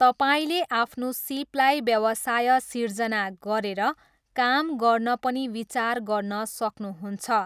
तपाईँले आफ्नो सिपलाई व्यवसाय सिर्जना गरेर काम गर्न पनि विचार गर्न सक्नुहुन्छ।